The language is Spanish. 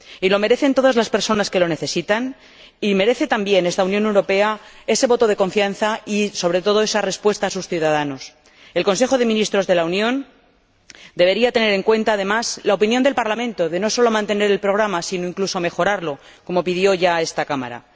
Y lo merecen todas las personas que lo necesitan y merece también esta Unión Europea ese voto de confianza y, sobre todo, esa respuesta a sus ciudadanos. El Consejo de Ministros de la Unión debería tener en cuenta, además, la opinión del Parlamento de no sólo mantener el programa, sino, incluso, de mejorarlo, como pidió ya esta Cámara.